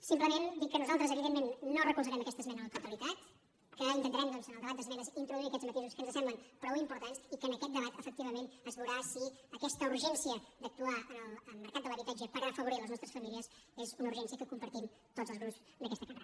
simplement dir que nosaltres evidentment no recolzarem aquesta esmena a la totalitat que intentarem doncs en el debat d’esmenes introduir aquests matisos que ens semblen prou importants i que en aquest debat efectivament es veurà si aquesta urgència d’actuar en el mercat de l’habitatge per afavorir les nostres famílies és una urgència que compartim tots els grups d’aquesta cambra